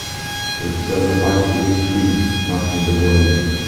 у тебя в запасе есть фильм нас не догонят